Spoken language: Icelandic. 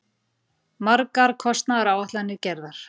Margar kostnaðaráætlanir gerðar.